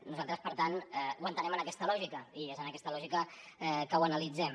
nosaltres per tant ho entenem en aquest lògica i és en aquesta lògica que ho analitzem